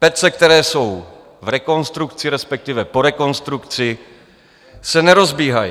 Pece, které jsou v rekonstrukci, respektive po rekonstrukci se nerozbíhají.